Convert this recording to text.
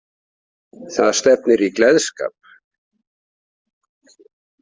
Það stefnir í gleðskap.